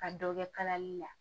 Ka dɔ kɛ kalali la